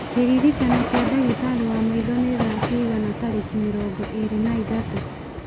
kĩrĩĩko kĩa ndagĩtarĩ wa maitho nĩ thaa cigana tarĩki mĩrongo ĩrĩ na ithatũ